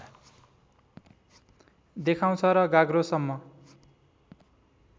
देखाउँछ र गाग्रोसम्म